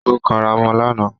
Ó kanra mọ́ lánàá